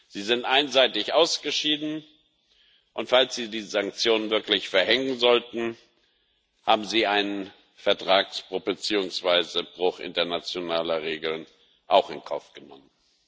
Sie sind einseitig ausgeschieden, und falls sie die Sanktionen wirklich verhängen sollten, haben sie einen Vertragsbruch beziehungsweise Bruch internationaler Regeln in Kauf genommen.